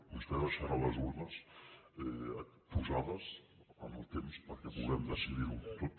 vostè deixarà les urnes posades en el temps perquè puguem decidir ho tot